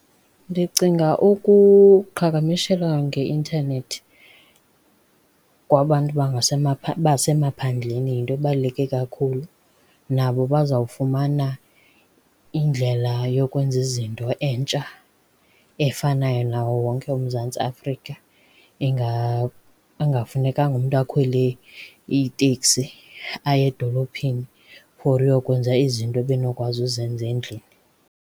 Ndicinga ukuqhagamshelana ngeintanethi kwabantu basemaphandleni yinto ebaluleke kakhulu. Nabo bazawufumana indlela yokwenza izinto entsha efanayo nawo wonke uMzantsi Afrika, ekungafunekanga umntu akhwele iteksi aye edolophini for uyokwenza izinto ebenokwazi uzenza endlini.